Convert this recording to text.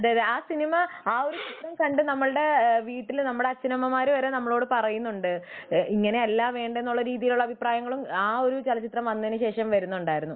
അതെ ആ സിനിമ ആ ഒരു സിനിമ കണ്ടു നമ്മുടെ വീട്ടില് അച്ഛനമ്മമാര് വരെ നമ്മളോട് പറയുന്നുണ്ട് ഇങ്ങനെയല്ല വേണ്ടത് എന്നുള്ള അഭിപ്രായങ്ങളും ആ ഒരു ചലച്ചിത്രം വന്നതിനു ശേഷം വരുന്നുണ്ടായിരുന്നു